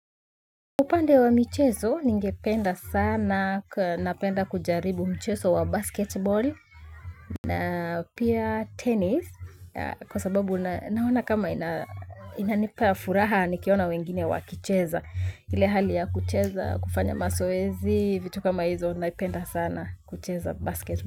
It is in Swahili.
Upande wa mchezo ningependa sana, napenda kujaribu mchezo wa basketball na pia tennis. Kwa sababu naona kama inanipa furaha nikiona wengine wakicheza. Ile hali ya kucheza, kufanya mazoezi, vitu kama hizo, naipenda sana kucheza basketball.